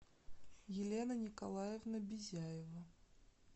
елена николаевна бизяева